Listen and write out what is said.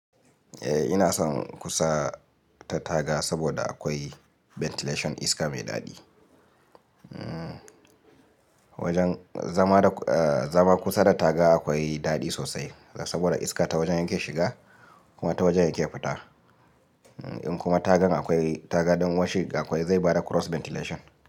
Eh ina son kusa ta taga saboda akwai ventilation iska mai daɗi. Zama kusa da taga akwai daɗi sosai saboda iska ta wajen yake shiga kuma ta wajen yake fita. In kuma tagan akwai taga don washing akwai zai bada cross ventilation.